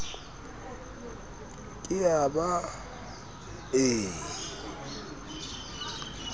ke a ba a e